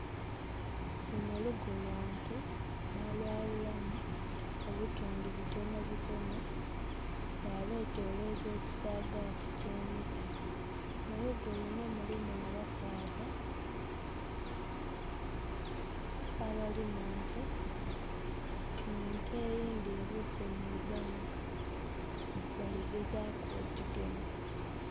Luno lugo lwa nte, balwawulamu obutundu butono butono, balwetoloza ekisaagati ky'emiti. Mulugo luno mulimu abasaadha abali munte, nga ente eyindi ebuuse mu ibanga, baligezaaku ogigema